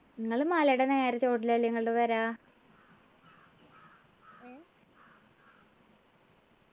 നിങ്ങള് മലയുടെ നേരെ ചോട്ടിൽ അല്ലെ നിങ്ങള്ടെ പെരാ